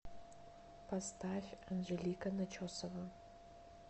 поставь анжелика начесова